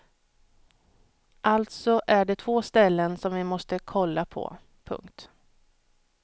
Alltså är det två ställen som vi måste kolla på. punkt